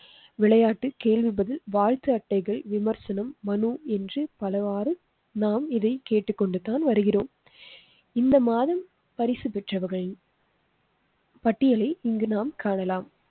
விளையாட்டு கேள்விபதில் வாழ்த்து அட்டைகள் விமர்சனம் மனு என்று பலவாறு நாம் இதைக் கேட்டுக் கொண்டுதான் வருகிறோம் இந்த மாதம் பரிசு பெற்றவர்கள் பட்டியலை இங்கு நாம் காணலாம்